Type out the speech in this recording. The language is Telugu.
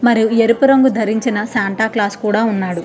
మరియు ఎరుపు రంగు ధరించిన శాంటా క్లాస్ కూడా ఉన్నాడు.